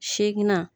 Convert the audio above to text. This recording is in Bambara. Segi na